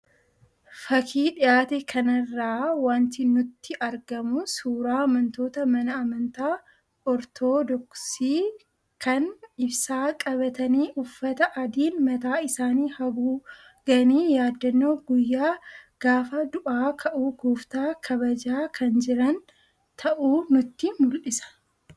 Fakii dhiyaate kanarraa wanti nutti argamu suuraa amantoota mana amantaa Ortodoksii kan ibsaa qabatanii, uffata adiin mataa isaanii haguuganii yaadannoo guyyaa gaafa du'aa ka'uu gooftaa kabajaa kan jiran ta'uu nutti mul'isa.